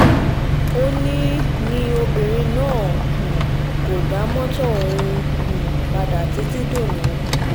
ó ní ní obìnrin náà um kò dá mọ́tò ọ̀hún um padà títí dòní